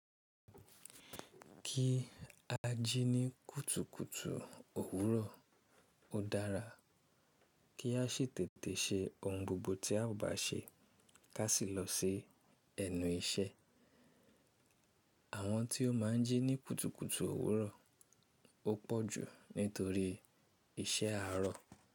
Kí a jí ní kùtùkùtù òwúrọ̀ ó dára, kí a ṣètètè ṣe ohun gbogbo tí a ò bá ṣe ká sì lọ se ẹnu iṣẹ́. Àwọn tí o máa ń jí ní kùtùkùtù òwúrọ̀ ọ́pọ̀ ju nítorí iṣẹ́ àárọ̀.